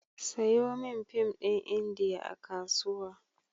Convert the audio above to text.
Sayo min fim ɗin Indiya a Kasuwa.